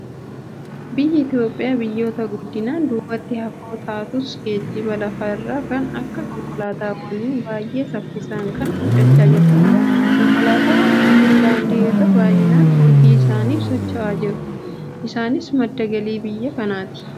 Biyyi Itoophiyaa biyyoota guddinaan duubatti hafoo taatus, geejjiba lafa irraa kan akka konkolaataawwaniin baay'ee saffisaan kan guddachaa jirtudha. Konkolaataawwan kunneen daandii irra baay'inaan hojii isaaniif socho'aa jiru. Isaanis madda galii biyya kanaati.